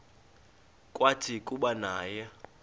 kwathi kuba naye